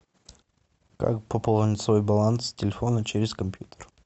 как пополнить свой баланс телефона через компьютер